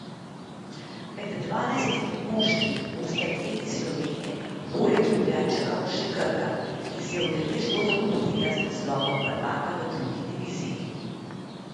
Med dvanajstimi moštvi bosta dve iz Slovenije, poleg Ljubljančanov še Krka, ki si je udeležbo zagotovila z naslovom prvaka v drugi diviziji.